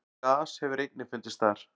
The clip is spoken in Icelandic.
gas hefur einnig fundist þar